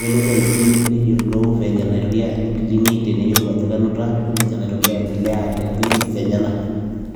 nelotu aipim neyolou venye naitoria alo clinic teneyolou ajo kenuta ashu venye naitoriaa aiendelea te clinics enyenak.